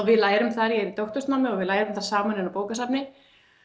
við lærum þar í doktorsnámi og við lærum þar saman inn á bókasafni